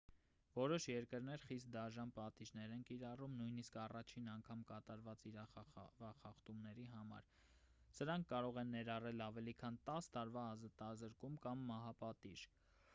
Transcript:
որոշ երկրներ խիստ դաժան պատիժներ են կիրառում նույնիսկ առաջին անգամ կատարված իրավախախտումների համար սրանք կարող են ներառել ավելի քան 10 տարվա ազատազրկում կամ մահապատիժ